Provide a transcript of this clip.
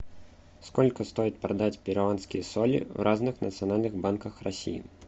сколько стоит продать перуанские соли в разных национальных банках россии